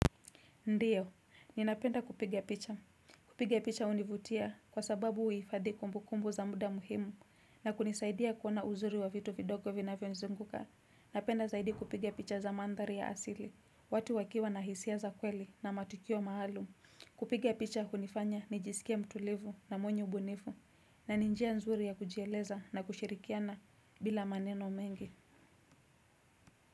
Ndio, ninapenda kupigia picha. Kupiga picha hunivutia kwa sababu huhifadhi kumbukumbu za muda muhimu na kunisaidia kuona uzuri wa vitu vidogo vinavyonizunguka. Napenda zaidi kupiga picha za mandhari ya asili, watu wakiwa na hisia za kweli na matukio maalum. Kupiga picha hunifanya nijisikie mtulivu na mwenye ubunifu na ni njia nzuri ya kujieleza na kushirikiana bila maneno mengi.